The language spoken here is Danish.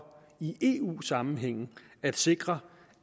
i eu sammenhæng at sikre